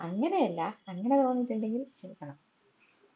അങ്ങനെയല്ല അങ്ങനെ തോന്നിട്ടുണ്ടെങ്കിൽ ക്ഷമിക്കണം